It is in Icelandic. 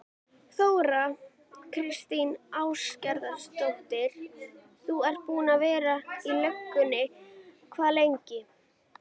Þóra Kristín Ásgeirsdóttir: Þú ert búinn að vera í löggunni hvað lengi?